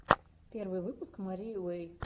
первый выпуск марии уэй